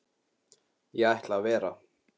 Ég ætla að vera.